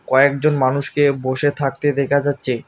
কয়েকজন মানুষকে বসে থাকতে দেকা যাচ্চে।